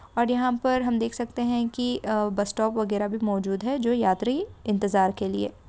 और यहां पर हम देख सकते है की -बस स्टॉप वगेरा भी मौजूद है जो यात्री इंतेज़ार के लिए।